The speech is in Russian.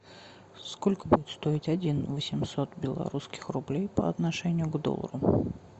сколько будет стоить один восемьсот белорусских рублей по отношению к доллару